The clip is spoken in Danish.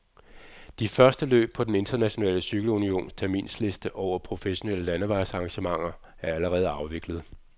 De første løb på den internationale cykelunions terminsliste over professionelle landevejsarrangementer er allerede afviklet.